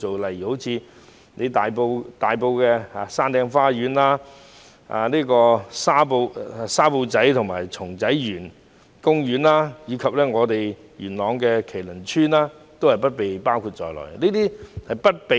例如大埔的山頂花園、沙埔仔和松仔園公園，以及元朗的麒麟村也不被包括在資助計劃內。